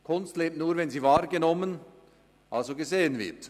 Kunst lebt nur, wenn sie wahrgenommen, also gesehen wird.